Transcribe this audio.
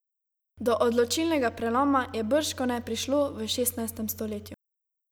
Do odločilnega preloma je bržkone prišlo v šestnajstem stoletju.